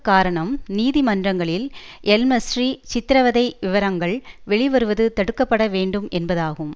காரணம் நீதிமன்றங்களில் எல்மஸ்ரி சித்திரவதை விவரங்கள் வெளிவருவது தடுக்க பட வேண்டும் என்பதாகும்